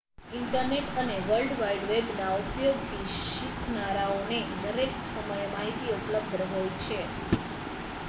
internet અને world wide વેબના ઉપયોગથી શીખનારાઓને દરેક સમયે માહિતી ઉપલબ્ધ હોય છે